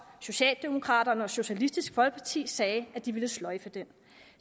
socialdemokraterne og socialistisk folkeparti sagde at de ville sløjfe den